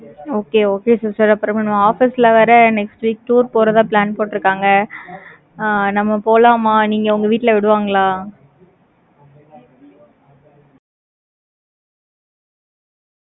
okay okay sister அப்புறம் office ல வேற, next week tour போறதா plan போட்டு இருக்காங்க ஆ, நம்ம போலாமா? நீங்க உங்க வீட்ல விடுவாங்களா?